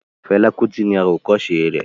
Fela Kuti ni àwòkọ́se rẹ̀